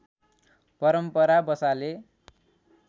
परम्परा बसाले